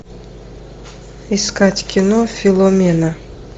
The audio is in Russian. искать кино филомена